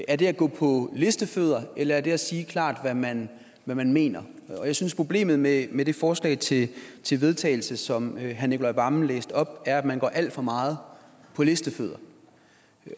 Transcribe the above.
er det at gå på listefødder eller er det at sige klart hvad man man mener jeg synes problemet med med det forslag til til vedtagelse som herre nicolai wammen læste op er at man går alt for meget på listefødder